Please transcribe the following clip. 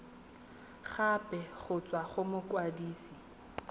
gape go tswa go mokwadise